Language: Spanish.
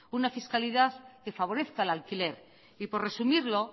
una fiscalidad que favorezca al alquiler y por resumirlo